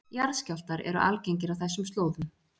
Jarðskjálftar eru algengir á þessum slóðum